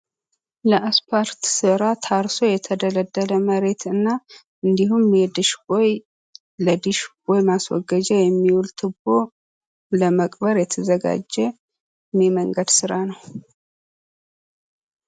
ለአስፓልት ስራ ታርሶ የተደለደለ መሬት እና እንዲሁም ለዲሽ ቦይ ማስወገጃ የሚውል ቱቦ ለመቅበር የተዘጋጀ የመንገድ ስራ ነው።